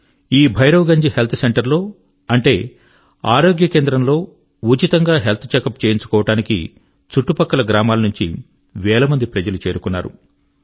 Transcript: ఈ Bhairav Ganj health centre లో అంటే ఆరోగ్యకేంద్రం లో ఉచితంగా హెల్త్ చెకప్ చేయించుకోవడానికి చుట్టుపక్కల గ్రామాల నుంచి వేల మంది ప్రజలు చేరుకున్నారు